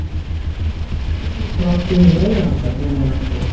Það fer nú allt eftir því hvað þú átt við með meiriháttar, ég meina sko.